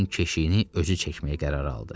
Gəminin keşiyini özü çəkməyə qərar aldı.